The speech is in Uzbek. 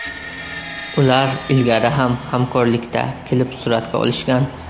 Ular ilgari ham hamkorlikda klip suratga olishgan.